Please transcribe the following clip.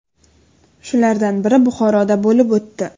Shulardan biri Buxoroda bo‘lib o‘tdi.